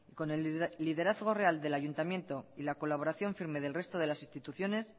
con el liderazgo real del ayuntamiento y la colaboración firme del resto de las instituciones